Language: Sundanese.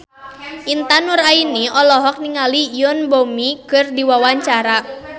Intan Nuraini olohok ningali Yoon Bomi keur diwawancara